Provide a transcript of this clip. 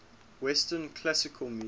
western classical music